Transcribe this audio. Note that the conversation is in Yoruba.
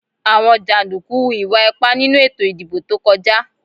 Àwọn jàndùkú hu ìwà ipá nínú ètò ìdìbò tó kọjá